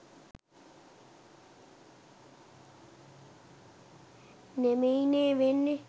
නෙමෙයිනේ වෙන්නේ